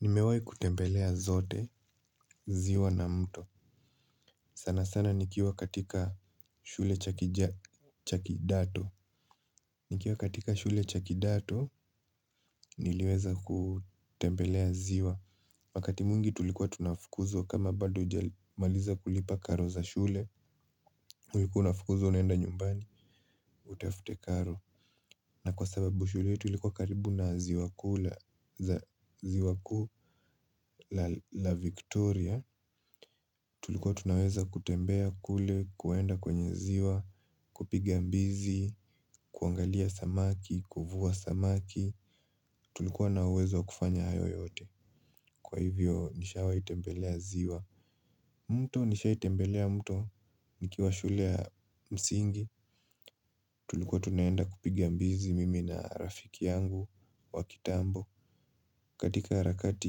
Nimewahi kutembelea zote, ziwa na mto. Sana sana nikiwa katika shule cha kidato. Nikiwa katika shule chakidato, niliweza kutembelea ziwa. Wakati mwingi tulikuwa tunafukuzwa kama bado hujamaliza kulipa karo za shule, ulikuwa unafukuzwa unaenda nyumbani utafute karo. Na kwa sababu shule ilikuwa karibu na ziwa kuu la Victoria, Tulikuwa tunaweza kutembea kule, kuenda kwenye ziwa, kupiga mbizi, kuangalia samaki, kuvua samaki. Tulikuwa na uwezo wa kufanya hayo yote. Kwa hivyo nishawahi tembelea ziwa. Mto, nishawahi tembelea mto nikiwa shule ya msingi. Tulikuwa tunaenda kupiga mbizi mimi na rafiki yangu wa kitambo. Katika harakati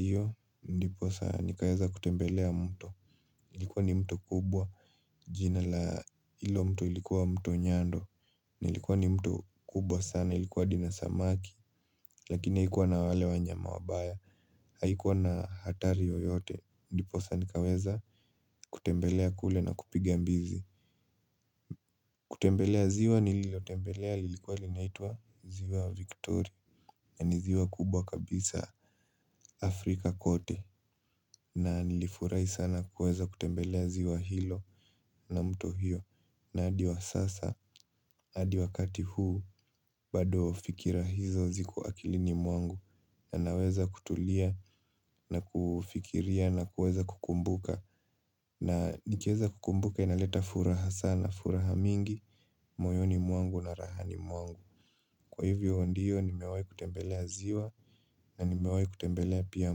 hiyo, ndiposa nikaweza kutembelea mto. Ilikuwa ni mto kubwa, jina la hilo mto ilikuwa mto Nyando. Ilikuwa ni mto kubwa sana, ilikuwa hadi na samaki. Lakina haikuwa na wale wanyama wabaya. Haikuwa na hatari yoyote, ndiposa nikaweza kutembelea kule na kupiga mbizi. Kutembelea ziwa nililotembelea lilikuwa linaitwa ziwa Victoria. Na ni ziwa kubwa kabisa Afrika kote. Na nilifurahi sana kuweza kutembelea ziwa hilo na mto hiyo. Na hadi wa sasa, hadi wakati huu, bado fikira hizo ziko akilini mwangu. Na naweza kutulia na kufikiria na kuweza kukumbuka. Na nikiweza kukumbuka inaleta furaha sana, furaha mingi moyoni mwangu na rahani mwangu. Kwa hivyo ndio nimewahi kutembelea ziwa na nimewahi kutembelea pia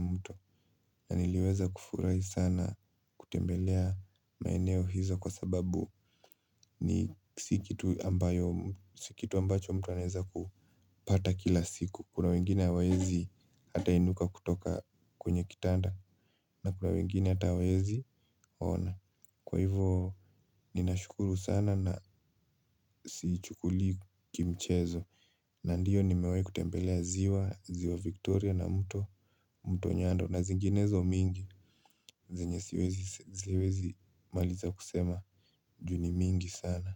mto. Na niliweza kufurahi sana kutembelea maeneo hizo kwa sababu ni, si kitu ambacho mtu anaweza kupata kila siku kuna wengine hawawezi hata inuka kutoka kwenye kitanda na kuna wengine hata hawawezi ona. Kwa hivo ninashukuru sana na siichukuli kimchezo. Na ndiyo nimewahi kutembelea ziwa, ziwa Victoria na mto mto Nyando na zinginezo mingi zenye siwezi maliza kusema juu ni mingi sana.